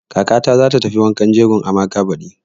Kakata za ta tafi wankan jegon Amaka baɗi.